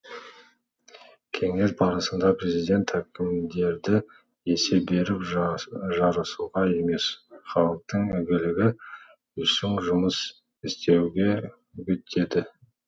кеңес барысында президент әкімдерді есеп беріп жарысуға емес халықтың игілігі үшін жұмыс істеуге үгіттеді